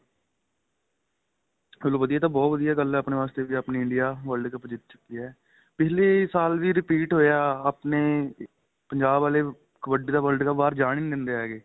ਚਲੋਂ ਵਧੀਆ ਏ ਤਾਂ ਬਹੁਤ ਵਧੀਆ ਗੱਲ ਏ ਆਪਣੇਂ ਵਾਸਤੇ ਵੀ ਆਪਣੀ India world cup ਜਿੱਤ ਚੁੱਕੀ ਏ ਪਿੱਛਲੀ ਸਾਲ ਵੀ repeat ਹੋਇਆ ਆਪਣੇਂ ਪੰਜਾਬ ਆਲੇ ਕਬੱਡੀ ਦਾਂ world cup ਬਹਾਰ ਜਾਣ ਏ ਨਹੀਂ ਦਿੰਦੇ ਹੈਗੇ